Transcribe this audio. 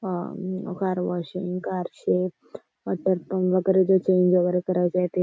हा car washing कारचे water वगैरे जे चेंज वगैरे करायचंय ते.